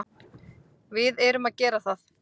Við erum að gera það.